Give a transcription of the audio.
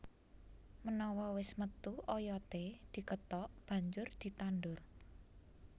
Menawa wis metu oyodé dikethok banjur ditandur